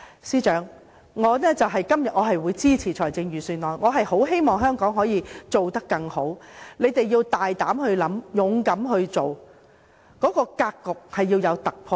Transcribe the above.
司長，我今天會支持預算案，我十分希望香港可以做得更好，你們要大膽的想，勇敢的做，必須突破格局。